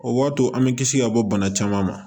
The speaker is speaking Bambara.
O b'a to an bɛ kisi ka bɔ bana caman ma